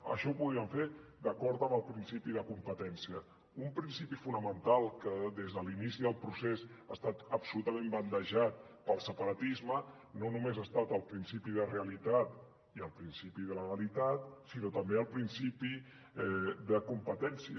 això ho podrien fer d’acord amb el principi de competència un principi fonamental que des de l’inici del procés ha estat absolutament bandejat pel separatisme no només ho han estat el principi de realitat i el principi de legalitat sinó també el principi de competència